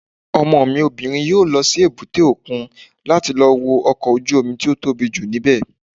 Ọmọ mi obìnrin yóò lọ sí èbúté òkun láti lọ wo ọkọ̀ ojú-omi tó tóbi jù ní bẹ̀